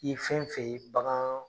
I ye fɛn fɛn ye bagan